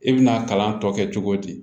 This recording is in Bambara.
I bɛna kalan tɔ kɛ cogo di